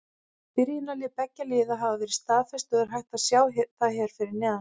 Byrjunarlið beggja liða hafa verið staðfest og er hægt að sjá hér fyrir neðan.